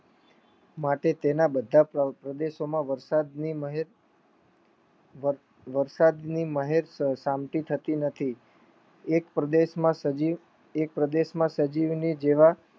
માટે તેના બધા પ્રદેશો વરસાદની મહેર વરસાદની મહેર શાંતિ થતી નથી એક પ્રદેશમાં સજીવની જેવા